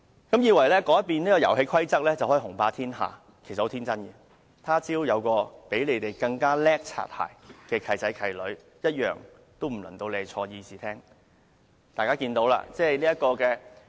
你們以為改變遊戲規則便能雄霸天下，其實十分天真，若他朝有較你們更會拍馬屁的"契仔"、"契女"出現時，坐進議事廳的便不再是你們了。